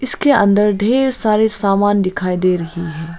इसके अंदर ढेर सारे सामान दिखाई दे रही है।